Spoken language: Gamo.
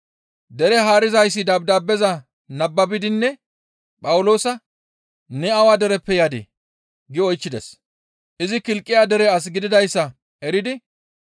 Dere haarizayssi dabdaabeza nababidinne Phawuloosa, «Ne awa dereppe yadii?» gi oychchides. Izi Kilqiya dere as gididayssa eridi,